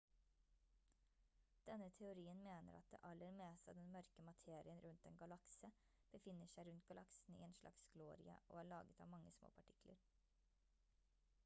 denne teorien mener at det aller meste av den mørke materien rundt en galakse befinner seg rundt galaksen i en slags glorie og er laget av mange små partikler